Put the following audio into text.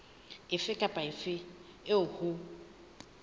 efe kapa efe eo ho